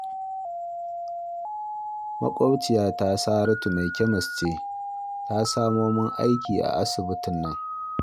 Maƙwabciyata Saratu mai kyamis ce ta samo min aiki a asibtin nan